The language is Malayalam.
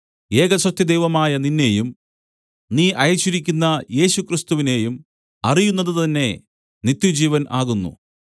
ഏകസത്യദൈവമായ നിന്നെയും നീ അയച്ചിരിക്കുന്ന യേശുക്രിസ്തുവിനെയും അറിയുന്നതുതന്നെ നിത്യജീവൻ ആകുന്നു